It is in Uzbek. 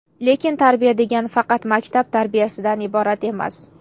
Lekin tarbiya degani faqat maktab tarbiyasidan iborat emas.